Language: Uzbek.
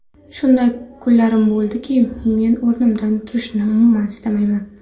Shunday kunlarim bo‘ladiki, men o‘rnimdan turishni umuman istamayman.